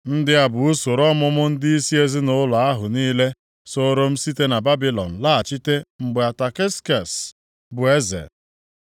Ndị a bụ usoro ọmụmụ ndịisi ezinaụlọ ahụ niile sooro m site na Babilọn laghachi mgbe Ataksekses bụ eze: